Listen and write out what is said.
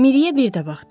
Miriyə bir də baxdı.